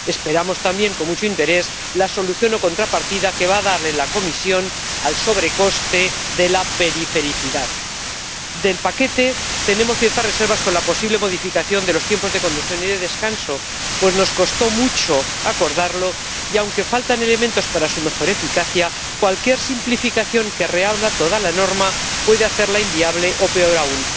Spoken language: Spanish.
Esperamos, también, con mucho interés, la solución o contrapartida que va a darle la Comisión al sobrecoste de la perifericidad. Del paquete, tenemos ciertas reservas respecto a la posible modificación de los tiempos de conducción y de descanso, pues nos costó mucho acordarlo y, aunque faltan elementos para mejorar su eficacia, cualquier simplificación que reabra toda la norma puede hacerla inviable, o peor aún,